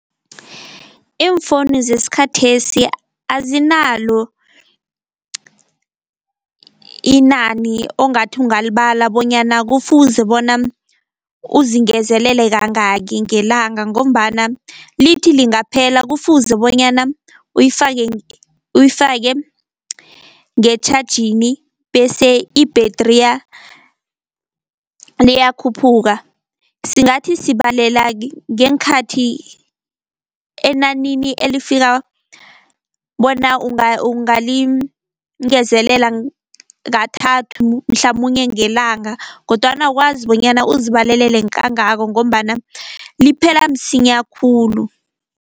Iimfowunu zesikhathesi azinalo inani ongathi ungalibala bonyana kufuze bona uzingezelele kangaki ngelanga, ngombana lithi lingaphela kufuze bonyana uyifake uyifake ngetjhajini bese ibhethriya liyakhuphuka. Singathi sibalela ngeenkhathi enanini elifika bona ungalingezelela kathathu mhlamunye ngelanga, kodwana awukwazi bonyana uzibalelele kangako ngombana liphela msinya khulu.